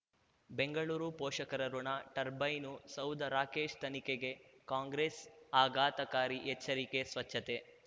ಬೆಂಗಳೂರು ಪೋಷಕರಋಣ ಟರ್ಬೈನು ಸೌಧ ರಾಕೇಶ್ ತನಿಖೆಗೆ ಕಾಂಗ್ರೆಸ್ ಆಘಾತಕಾರಿ ಎಚ್ಚರಿಕೆ ಸ್ವಚ್ಛತೆ